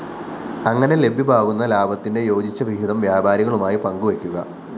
അങ്ങനെ ലഭ്യമാകുന്ന ലാഭത്തിന്റെ യോജിച്ച വിഹിതം വ്യാപാരികളുമായി പങ്കുവയ്ക്കുക